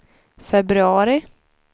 februari